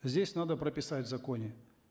здесь надо прописать в законе